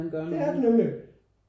Det er det nemlig